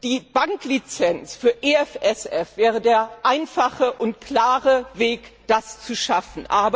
Die Banklizenz für die EFSF wäre der einfache und klare Weg, das zu schaffen.